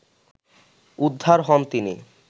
উদ্ধার হন তিনি